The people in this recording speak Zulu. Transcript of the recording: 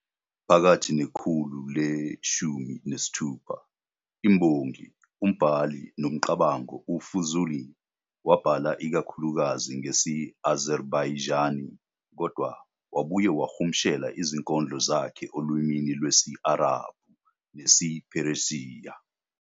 Phakathi nekhulu le-16, imbongi, umbhali nomcabango uFuzûlî wabhala ikakhulukazi ngesi-Azerbaijani kodwa wabuye wahumushela izinkondlo zakhe olimini lwesi-Arabhu nesiPheresiya.